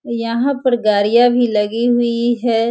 यहाँ पर गाड़ियाँ भी लगी हुई है।